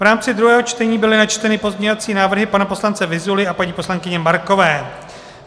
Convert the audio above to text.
V rámci druhého čtení byly načteny pozměňovací návrhy pana poslance Vyzuly a paní poslankyně Markové.